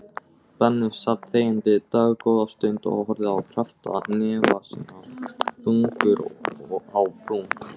Benni sat þegjandi dágóða stund og horfði á kreppta hnefa sína, þungur á brún.